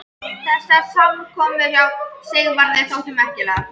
Í þetta skipti kom hann glaðbeittur aftur fram litlu síðar.